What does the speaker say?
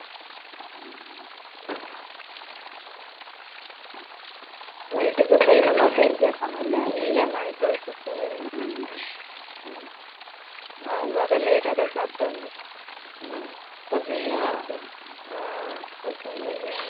Night க்கு செய்யணுமா செஞ்சிட்டியா சமையலு இல்லமா இப்ப செய்யணும் சமையல் அவங்க late தான் சாப்டாங்க ம்ம பசங்களா ஆ பசங்களும் இவங்களும்